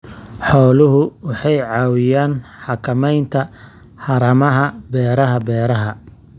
Xooluhu waxay caawiyaan xakamaynta haramaha beeraha beeraha.